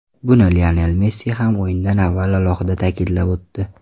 Buni Lionel Messi ham o‘yindan avval alohida ta’kidlab o‘tdi.